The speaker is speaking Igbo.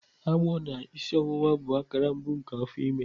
Agbọ na isi ọwụwa bụ akara mbụ nke afọ ime.